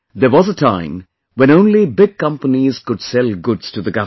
There was a time when only big companies could sell goods to the government